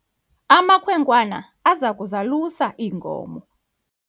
amakhwenkwana aza kuzalusa iinkomo